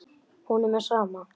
Honum er sama.